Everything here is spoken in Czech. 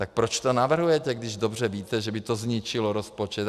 Tak proč to navrhujete, když dobře víte, že by to zničilo rozpočet?